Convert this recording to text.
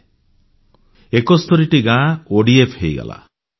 71 ଟି ଗାଁ ODF open defecation free ହୋଇଗଲା